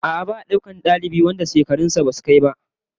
A'a, ba'a daukar dalibai wanda shekarun su basu kai ba